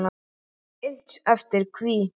Innt eftir: Hví?